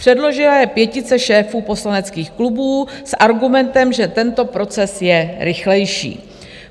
Předložila jej pětice šéfů poslaneckých klubů s argumentem, že tento proces je rychlejší.